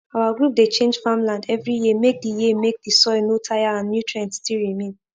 our group dey change farmland every year make the year make the soil no tire and nutrients still remain